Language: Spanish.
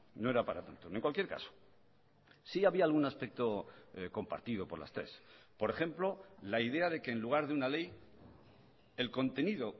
no era para tanto en cualquier caso sí había algún aspecto compartido por las tres por ejemplo la idea de que en lugar de una ley el contenido